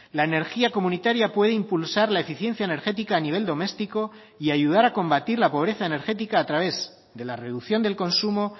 la energía comunitaria puede impulsar la eficiencia energética a nivel doméstico y ayudar a combatir la pobreza energética a través de la reducción del consumo